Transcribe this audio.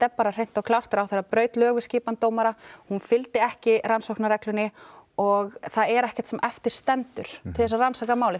er bara hreint og klárt ráðherra braut lög við skipan dómara hún fylgdi ekki rannsóknarreglunni og það er ekkert sem eftir stendur til að rannsaka málið